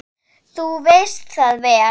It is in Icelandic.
Þú veist það vel!